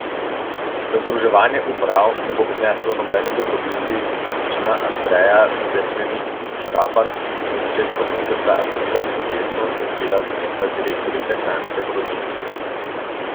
Da združevanje uprav ne bo prineslo nobene dobrobiti, je prepričana Andreja Cerkvenik Škafar, ki je v začetku meseca aprila protestno odstopila z mesta direktorice kranjske porodnišnice.